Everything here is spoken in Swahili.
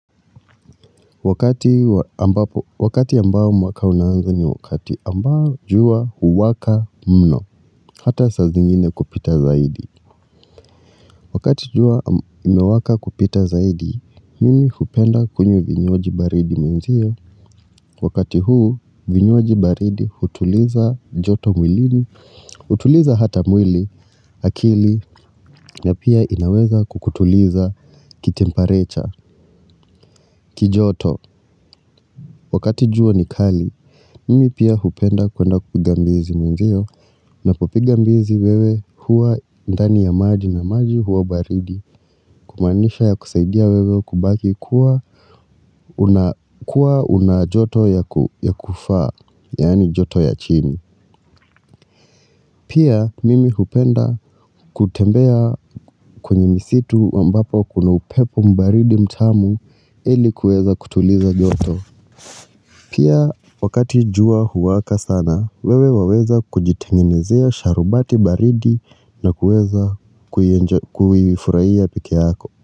Wakati ambao mwaka unaanza ni wakati ambao jua huwaka mno, hata sa zingine kupita zaidi. Wakati jua imewaka kupita zaidi, mimi hupenda kunywa vinywaji baridi mwenzio. Wakati huu vibywaji baridi hutuliza joto mwilini hutuliza hata mwili akili na pia inaweza kukutuliza kikitempereture kijoto. Wakati jua ni kali, mimi pia hupenda kwenda kupiga mbizi mwenzio na kupiga mbizi wewe huwa ndani ya maji na maji huwa baridi kumawnisha ya kusaidia wewe kubaki kuwa kuwa unajoto ya kufaa, yani joto ya chini. Pia mimi hupenda kutembea kwenye misitu ambapo kuna upepo mbaridi mtamu ili kueza kutuliza joto. Pia wakati jua huwaka sana, wewe waweza kujitengenezea sharubati baridi na kueza kuifuhaia pekeyako.